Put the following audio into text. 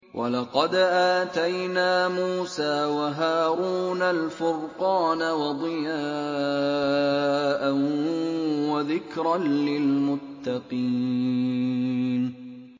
وَلَقَدْ آتَيْنَا مُوسَىٰ وَهَارُونَ الْفُرْقَانَ وَضِيَاءً وَذِكْرًا لِّلْمُتَّقِينَ